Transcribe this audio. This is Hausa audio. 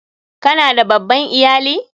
Ka na da babban iyali?